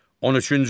On üçüncü.